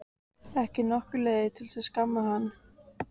Ekki nokkur leið að skamma hann.